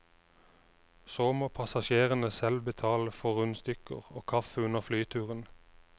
Så må passasjerene selv betale for rundstykker og kaffe under flyturen.